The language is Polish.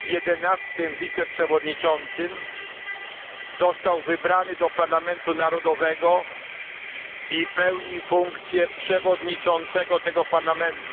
11. wiceprzewodniczącym, został wybrany do parlamentu narodowego i pełni funkcję przewodniczącego tego parlamentu.